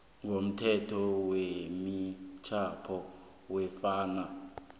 komthetho wemitjhado nofana